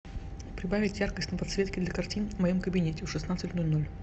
прибавить яркость на подсветке для картин в моем кабинете в шестнадцать ноль ноль